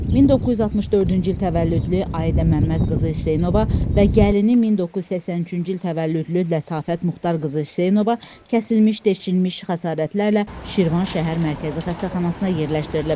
1964-cü il təvəllüdlü Ayidə Məmmədqızı Hüseynova və gəlini 1983-cü il təvəllüdlü Lətafət Muxtarqızı Hüseynova kəsilmiş, deşilmiş xəsarətlərlə Şirvan şəhər Mərkəzi Xəstəxanasına yerləşdirilib.